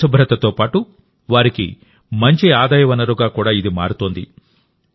పరిశుభ్రతతో పాటు వారికి మంచి ఆదాయ వనరుగా కూడా ఇది మారుతోంది